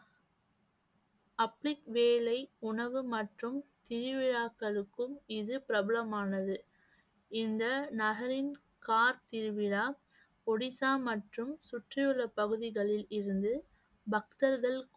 வேலை உணவு மற்றும் திருவிழாக்களுக்கும் இது பிரபலமானது. இந்த நகரின் திருவிழா ஒடிசா மற்றும் சுற்றியுள்ள பகுதிகளில் இருந்து பக்தர்கள்